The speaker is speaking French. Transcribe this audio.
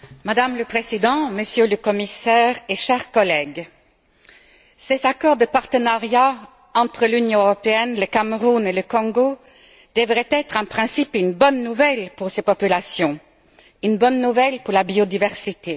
Madame la Présidente, Monsieur le Commissaire, chers collègues, ces accords de partenariat entre l'Union européenne, le Cameroun et le Congo devraient être en principe une bonne nouvelle pour ces populations, une bonne nouvelle pour la biodiversité.